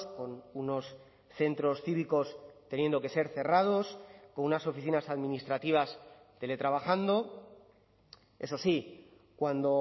con unos centros cívicos teniendo que ser cerrados con unas oficinas administrativas teletrabajando eso sí cuando